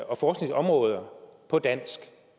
og forskningsområder på dansk